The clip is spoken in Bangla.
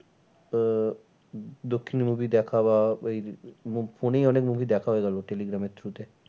আহ উম দক্ষিণের movie দেখা বা এই phone এই অনেক movie দেখা হয়ে গেলো টেলিগ্রামের through তে।